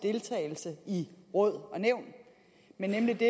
deltagelse i råd og nævn men nemlig det